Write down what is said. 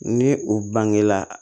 Ni u bangela